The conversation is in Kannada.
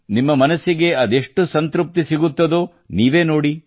ನಿಮ್ಮ ಮನಸ್ಸಿಗೆ ಅದೆಷ್ಟು ಸಂತೃಪ್ತಿ ಸಿಗುತ್ತದೋ ನೀವೇ ನೋಡಿ